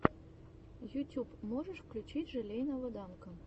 ютюб можешь включить желейного данка